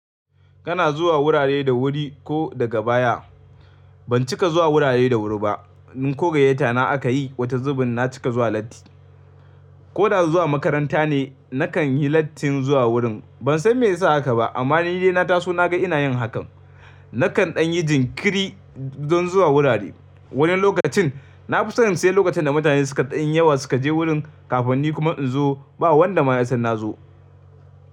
Kana zuwa wurare da wuri ko daga baya? Ban cika zuwa wurare da wuri ba. Ni kogayyata na aka yi, wata zubin na cika zuwa latti. Ko da zuwa makaranta ne, nakan yi lattin zuwa wurin. Ban san me ya sa haka ba, amma ni dai na taso na ga ina yin hakan. Nakan ɗan yi jinkiri don zuwa wurare. Wani lokacin na fi son sai lokacin da mutane suka ɗan yawa suka je wurin kafin ni kuma in zo, ba wanda ma ya san na zo.